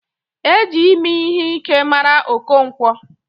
E ji ime ihe Ike mara Okonkwo.